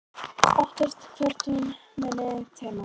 Óttast hvert hún muni teyma mig.